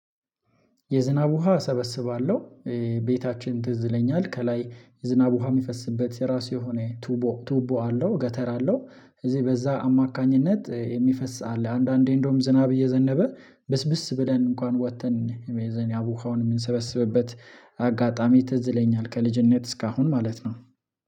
የዝናብ ውሃ እሰበስባለሁ። ቤታችን ትዝይለኛል ከላይ የዝናብ ውሃ የሚፈስበት የራሱ የሆነ ቱቦ አለው ገተር አለው በዛ አማካኝነት የሚፈስበት አለ። አንዳንዴ እንደውም ዝናብ እየዘነበ ብስብስ ብለን እንኳን ወጥተን ውሃውን የምንሰበስብበት አጋጣሚ ትዝይለኛል። ከልጅነት እስካሁን ማለት ነው።